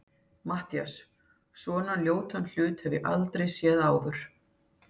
MATTHÍAS: Svona ljótan hlut hef ég aldrei séð áður.